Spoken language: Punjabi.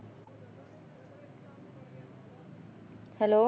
Hello